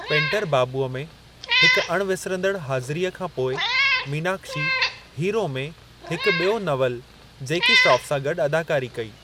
Painter बाबूअ में हिक अणविसरंदड़ु हाज़िरीअ खां पोइ मीनाक्षी हीरो में हिक बि॒यो नवलु जैकी श्रॉफ़ सां गॾु अदाकारी कई।